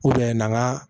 na